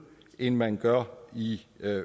end man gør i